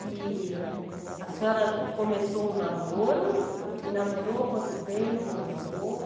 E a senhora começou o namoro, e namorou quanto tempo, noivou?